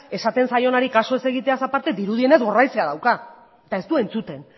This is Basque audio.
esaten zaionari kasu egitea ez aparte dirudienez gorraizea dauka eta ez du entzuten